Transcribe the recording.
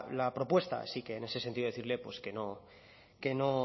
la propuesta así que en ese sentido decirle